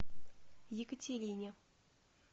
екатерине